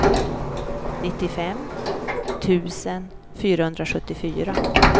nittiofem tusen fyrahundrasjuttiofyra